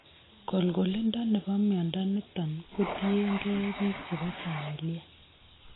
Kolkolindo nebo mnyondo niton kotien gee biik chebo familia